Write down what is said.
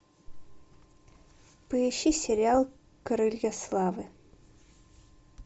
поищи сериал крылья славы